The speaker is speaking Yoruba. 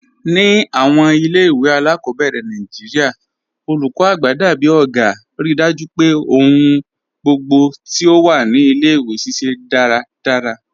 Ni awọn ilẹ̀-iwe aláàkọ́bẹ̀rẹ̀ Nàìjíríà, olúkọ́ àgbà dábìí ọ̀gá, ríì dájú pé ọ̀hùn gbogbo ti o wà ni ilẹ̀-iwe ṣiṣẹ daradara.